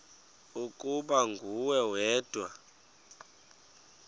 ukuba nguwe wedwa